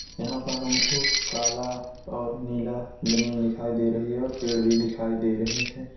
यहाँ पर हमको काला और नीला जमीन दिखाई दे रही है और पेड़ भी दिखाई दे रहे हैं।